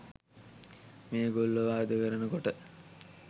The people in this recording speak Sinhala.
මේගොල්ලෝ වාද කරනකොට